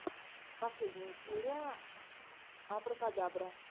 последняя серия абракадабра